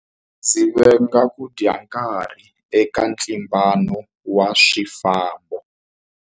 Ndzi venga ku dya nkarhi eka ntlimbano wa swifambo.